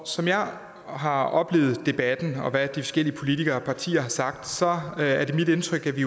som jeg har har oplevet debatten og hvad forskellige politikere og partier har sagt sagt er det mit indtryk at vi